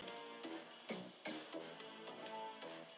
Á áfangastað grófu strákarnir holu í jörðina.